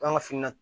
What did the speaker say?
K'an ka fini na